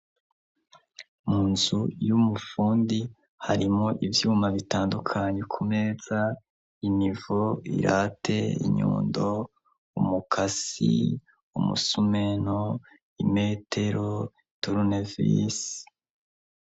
Mu nzu y'umufundi harimwo ivyuma bitandukanye ku meza: inivo, irate, inyundo, umukasi, umusumeno, imetero, turunevisi.